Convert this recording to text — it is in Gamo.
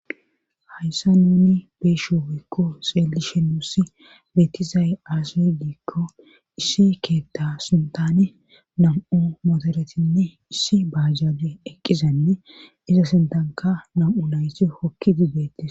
Hayssa nuni beesho hoykko xeelishe nuussi beetizay aasidiikko issi keetta sintane nam7o motoretinne issi baajaadi eqqizanne iza sintanka nam7u layti hokki dibdetis.